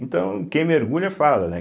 Então, quem mergulha fala, né?